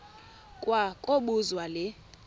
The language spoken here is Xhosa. kwa kobuzwa le